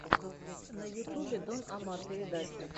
на ютубе дон омар передача